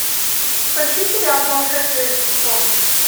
поищи сериал сумасшедшие за стеклом